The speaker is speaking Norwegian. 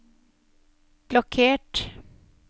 blokkert